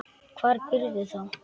Hvar býrðu þá?